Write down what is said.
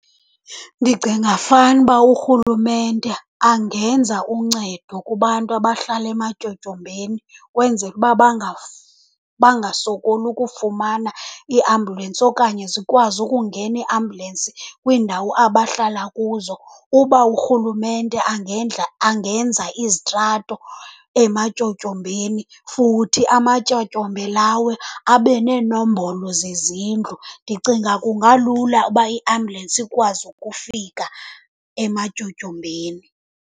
Ndicinga fanuba urhulumente angenza uncedo kubantu abahlala ematyotyombeni, ukwenzela uba bangasokoli ukufumana iiambulensi okanye zikwazi ukungena iiambulensi kwiindawo abahlala kuzo. Uba urhulumente angenza izitrato ematyotyombeni, futhi amatyotyombe lawo abe neenombolo zezindlu, ndicinga kungalula uba iambulensi ikwazi ukufika ematyotyombeni.